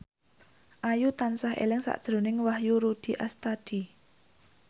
Ayu tansah eling sakjroning Wahyu Rudi Astadi